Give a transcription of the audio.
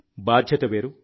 బాధ్యత వేరు